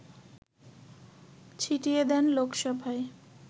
ছিটিয়ে দেন লোকসভায়